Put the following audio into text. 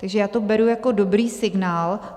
Takže já to beru jako dobrý signál.